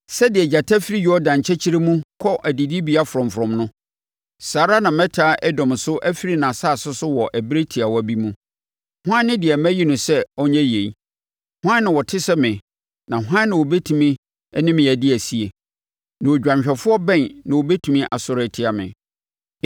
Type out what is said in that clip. “Sɛdeɛ gyata firi Yordan nkyɛkyerɛ mu kɔ adidibea frɔmfrɔm no, saa ara na mɛtaa Edom so afiri nʼasase so wɔ ɛberɛ tiawa bi mu. Hwan ne deɛ mayi no sɛ ɔnyɛ yei? Hwan na ɔte sɛ me na hwan na ɔbɛtumi ne me adi asie? Na odwanhwɛfoɔ bɛn na ɔbɛtumi asɔre atia me?”